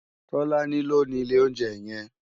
Tolani ló ni ilé óunjè yèn